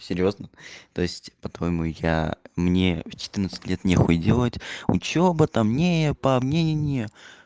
серьёзно то есть по-твоему я мне в четырнадцать лет нехуй делать учёба там не по мне не не